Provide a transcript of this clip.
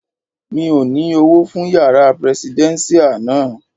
Mi ò ní Owó fún yàrá prẹsidẹ́nṣíà náà.